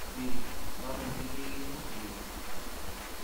Weri, mamuchi keekeno weri